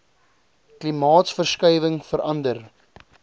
klimaatsverskuiwinhg vera nder